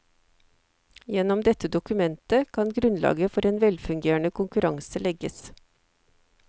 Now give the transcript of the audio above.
Gjennom dette dokumentet kan grunnlaget for en velfungerende konkurranse legges.